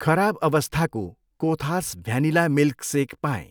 खराब अवस्थाको कोथास भ्यानिला मिल्कसेक पाएँ।